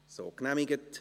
– So genehmigt.